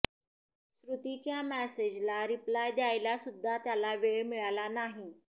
श्रुतीच्या मेसेजला रिप्लाय द्यायला सुद्धा त्याला वेळ मिळाला नाही